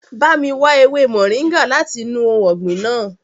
Ba mi wa ewe moringa lati inu ohun ọgbin naa!